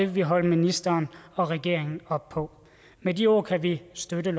vi holde ministeren og regeringen op på med de ord kan vi støtte